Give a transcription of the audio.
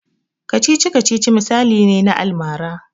Kacici-kacicic misali ne na almara.